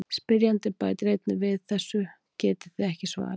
Spyrjandi bætir einnig við: Þessu getið þið ekki svarað!